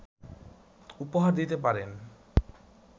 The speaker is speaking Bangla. উপহার দিতে পারেন!